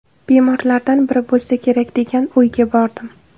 Bemorlardan biri bo‘lsa kerak degan o‘yga bordim.